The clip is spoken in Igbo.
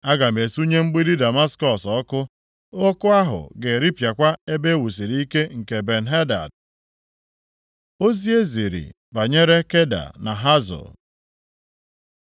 “Aga m esunye mgbidi Damaskọs ọkụ. Ọkụ ahụ ga-eripịakwa ebe e wusiri ike nke Ben-Hadad.” Ozi e ziri banyere Keda na Hazọ